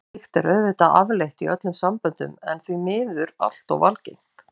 Slíkt er auðvitað afleitt í öllum samböndum en því miður allt of algengt.